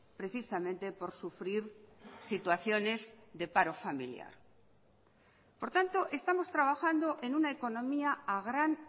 precisamente por sufrir situaciones de paro familiar por tanto estamos trabajando en una economía a gran